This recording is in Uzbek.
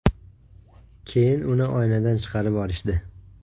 Keyin uni oynadan chiqarib olishdi.